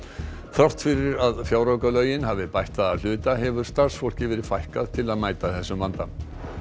þrátt fyrir að fjáraukalögin hafi bætt það að hluta hefur starfsfólki verið fækkað til að mæta þessum vanda